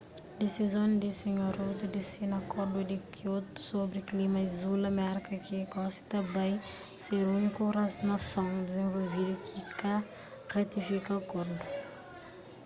disizon di sr rudd di sina akordu di kiotu sobri klima izula merka ki gosi ta bai ser úniku nason dizenvolvidu ki ka ratifika akordu